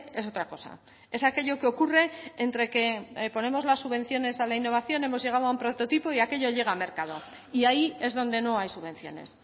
es otra cosa es aquello que ocurre entre que ponemos las subvenciones a la innovación hemos llegado a un prototipo y aquello llega al mercado y ahí es donde no hay subvenciones